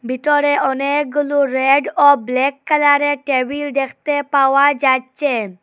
ভিতরে অনেকগুলো রেড ও ব্ল্যাক কালার -এর টেবিল দেখতে পাওয়া যাচ্চে।